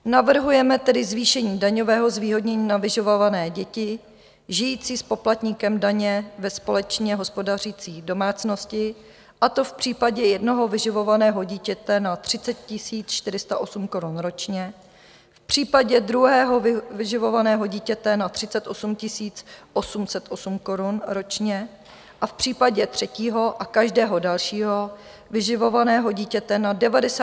Navrhujeme tedy zvýšení daňového zvýhodnění na vyživované děti žijící s poplatníkem daně ve společně hospodařící domácnosti, a to v případě jednoho vyživovaného dítěte na 30 408 korun ročně, v případě druhého vyživovaného dítěte na 38 808 korun ročně a v případě třetího a každého dalšího vyživovaného dítěte na 96 816 korun ročně.